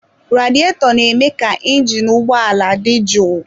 Radietọ na-eme ka injinu ụgbọ ala dị jụụ.